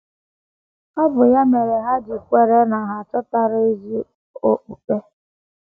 Ọ bụ ya mere ha ji kwere na ha achọtala ezi okpukpe.